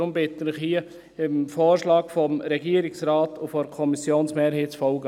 Deshalb bitte ich Sie, hier dem Vorschlag von Regierungsrat und Kommissionsmehrheit zu folgen.